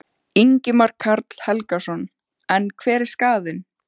Ingimar Karl Helgason: En hver er skaðinn?